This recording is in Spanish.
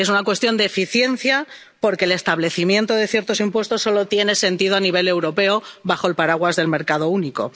Es una cuestión de eficiencia, porque el establecimiento de ciertos impuestos solo tiene sentido a nivel europeo bajo el paraguas del mercado único